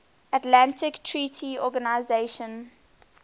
atlantic treaty organisation